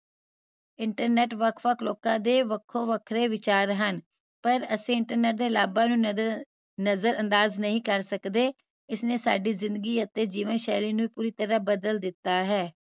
internet ਵੱਖ ਵੱਖ ਲੋਕਾਂ ਦੇ ਵੇਖੋ ਵੱਖਰੇ ਵਿਚਾਰ ਹਨ ਪਾਰ ਅਸੀ internet ਦੇ ਲਾਭਾਂ ਨੂੰ ਨਜ਼ਰ ਨਜ਼ਰਅੰਦਾਜ਼ ਨਹੀਂ ਕਰ ਸਕਦੇ ਇਸਨੇ ਸਾਡੀ ਜ਼ਿੰਦਗੀ ਅਤੇ ਜੀਵਨਸ਼ੈਲੀ ਨੂੰ ਪੂਰੀ ਤਰਾਹ ਬਦਲ ਦਿੱਤਾ ਹੈ